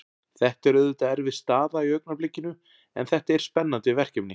Þetta er auðvitað erfið staða í augnablikinu en þetta er spennandi verkefni.